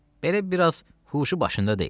Belə biraz huşu başında deyil.